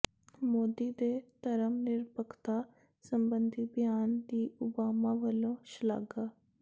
ਮੋਦੀ ਦੇ ਧਰਮ ਨਿਰਪੱਖਤਾ ਸਬੰਧੀ ਬਿਆਨ ਦੀ ਓਬਾਮਾ ਵੱਲੋਂ ਸ਼ਲਾਘਾ